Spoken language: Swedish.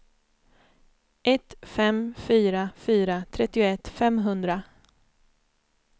ett fem fyra fyra trettioett femhundra